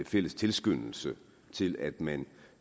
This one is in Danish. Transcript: fælles tilskyndelse til at man